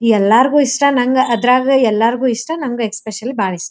ಎಲ್ಲರೀಗೂ ಇಷ್ಟ ನಂಗ್ ಅದ್ರಗೂ ಎಲ್ಲರಿಗು ಇಷ್ಟ ನಂಗ್ ಸ್ಪೆಷಲ್ ಬಹಳ ಇಷ್ಟ--